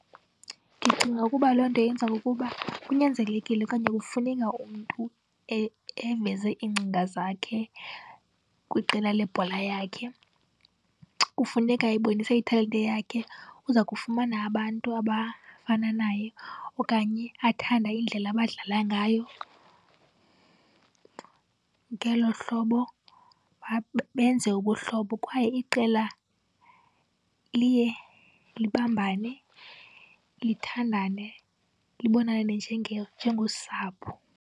Ndicinga ukuba loo nto yenza ukuba kunyanzelekile okanye kufuneka umntu eveze iingcinga zakhe kwiqela lebhola yakhe. Kufuneka ebonise italente yakhe, uza kufumana abantu abafana naye okanye athanda indlela abadlala ngayo. Ngelo hlobo benze ubuhlobo kwaye iqela liye libambane, lithandane, libonane njengosapho.